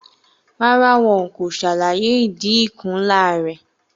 Rárá, wọn kò ṣàlàyé ìdí ikùn ńlá rẹ̀.